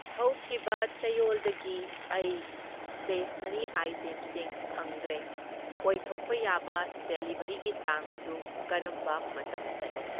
ꯍꯧꯈꯤꯕ ꯆꯌꯣꯜꯗꯒꯤ ꯑꯩ ꯁ꯭ꯇꯦꯁꯅꯔꯤ ꯑꯥꯏꯇꯦꯝꯁꯤꯡ ꯐꯪꯗ꯭ꯔꯦ, ꯑꯣꯏꯊꯣꯛꯄ ꯌꯥꯕ ꯗꯤꯂꯤꯕꯔꯤꯒꯤ ꯇꯥꯡ ꯑꯗꯨ ꯀꯔꯝꯕ ꯃꯇꯝꯗꯅꯣ?